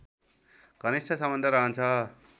घनिष्ठ सम्बन्ध रहन्छ